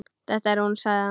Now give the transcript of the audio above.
Þetta er hún sagði hann.